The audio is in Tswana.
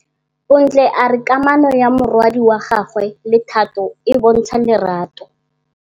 Bontle a re kamanô ya morwadi wa gagwe le Thato e bontsha lerato.